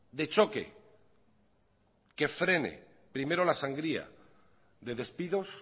de choque que frene primero la sangría de despidos